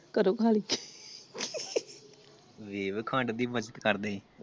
ਘਰੋਂ ਖਾਲੀ ਤੁਸੀ ਖਾਣ ਦੀ ਮਦਦ ਕਰਦੇ ਸੀ ।